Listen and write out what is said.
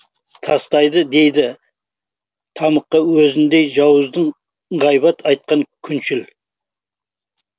тастайды дейді тамұққа өзіңдей жауыздың ғайбат айтқан күншіл